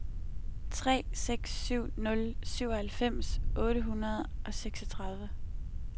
tre seks syv nul syvoghalvfems otte hundrede og seksogtredive